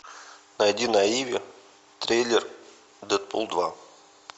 найди на иви трейлер дэдпул два